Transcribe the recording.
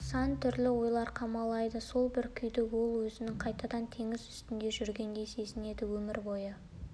сан түрлі ойлар қамалайды сол бір күйде ол өзін қайтадан теңіз үстінде жүргендей сезінеді өмір бойы